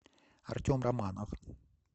артем романов